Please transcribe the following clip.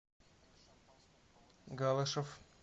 галашев